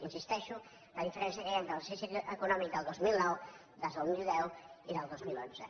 insisteixo en la diferència que hi ha entre l’exercici econòmic del dos mil nou del dos mil deu i del dos mil onze